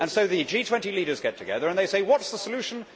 So the G20 leaders get together and they say What is the solution?